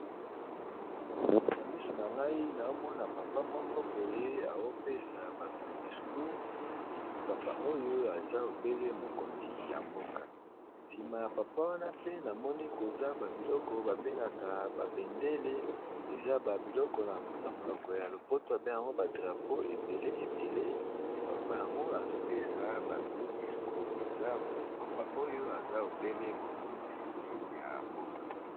Na misu na ngai naomona papa moko boye aopesa bato discoure epi papa oyo eza ebele mokonzi ya mboka nsima ya papa wana pe namoni koza babiloko babengaka babendele eza babiloko na monoko ya lopoto ebeng yngo badrapo ebele ebele pe papa yango azopesa bato discoure eza papa oyo eza ebele mokonzi ya mboka.